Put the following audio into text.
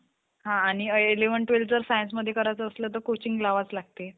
मोठ्या TV दहा साल~ दहा-दहा-दहा साल नंतर आलं. आलं तर इतकं त्याचं movie hit झालं ना. तू~ तुम्ही बघा इतकी छान movie आहे. आता पण,